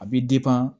A bɛ